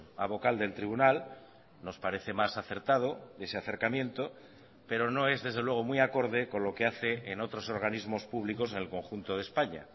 a vocal del tribunal nos parece más acertado ese acercamiento pero no es desde luego muy acorde con lo que hace en otros organismos públicos en el conjunto de españa